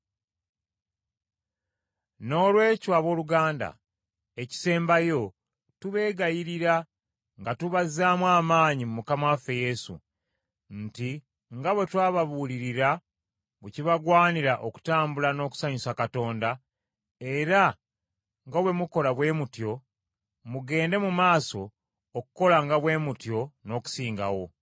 Noolwekyo abooluganda, ekisembayo, tubeegayirira nga tubazzaamu amaanyi mu Mukama waffe Yesu, nti nga bwe twababuulirira bwe kibagwanira okutambula n’okusanyusa Katonda, era nga bwe mukola bwe mutyo, mugende mu maaso okukolanga bwe mutyo n’okusingawo.